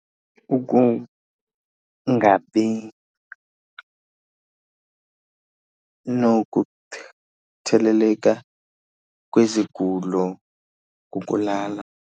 Ukungabi kwezigulo ngokulala.